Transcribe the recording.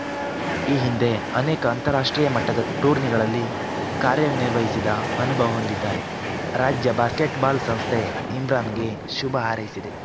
ಈ ಹಿಂದೆ ಅನೇಕ ಅಂತಾರಾಷ್ಟ್ರೀಯ ಮಟ್ಟದ ಟೂರ್ನಿಗಳಲ್ಲಿ ಕಾರ್ಯನಿರ್ವಹಿಸಿದ ಅನುಭವ ಹೊಂದಿದ್ದಾರೆ ರಾಜ್ಯ ಬಾಸ್ಕೆಟ್‌ಬಾಲ್‌ ಸಂಸ್ಥೆ ಇಮ್ರಾನ್‌ಗೆ ಶುಭ ಹಾರೈಸಿದೆ